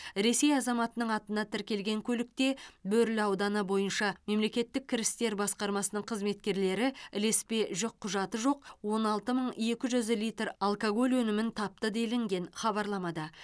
ресей азаматының атына тіркелген көлікте бөрлі ауданы бойынша мемлекеттік кірістер басқармасының қызметкерлері ілеспе жүкқұжаты жоқ он алты мың екі жүз литр алкоголь өнімін тапты делінген хабарламада